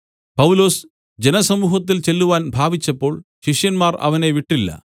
പൗലൊസ് ജനസമൂഹത്തിൽ ചെല്ലുവാൻ ഭാവിച്ചപ്പോൾ ശിഷ്യന്മാർ അവനെ വിട്ടില്ല